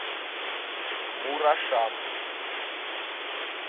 мурашам